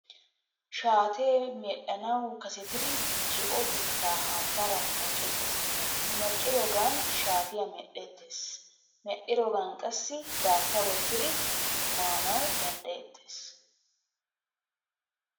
Shaatee medhdhanawu kasetidi zo'o biittaa haattaara munaqqeettes. Munaqqiroogan shaatiya medhdheettes. Medhdhiroogan qassi daattaa wottiri maanawu danddayettees.